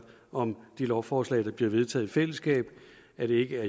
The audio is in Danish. om de lovforslag der bliver vedtaget i fællesskab at det ikke hedder